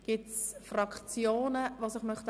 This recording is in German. Gibt es Fraktionen, die sich melden möchten?